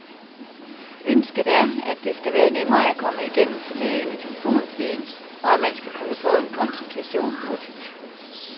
Ønsket er, at det skal være nemmere at komme igennem til lægen i telefontiden, og at man skal kunne få en konsultation hurtigt.